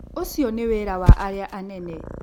Ũcio nĩ wĩra wa arĩa anene.